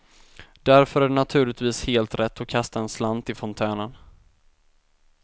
Därför är det naturligtvis helt rätt att kasta en slant i fontänen.